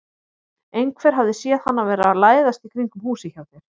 Einhver hafði séð hann vera að læðast í kringum húsið hjá þér.